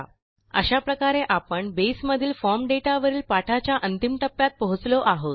अशा प्रकारे आपण बसे मधील फॉर्म दाता वरील पाठाच्या अंतिम टप्प्यात पोहोचलो आहोत